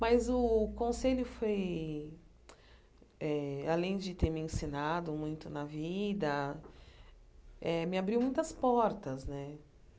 Mas o conselho, foi eh além de ter me ensinado muito na vida, eh me abriu muitas portas né.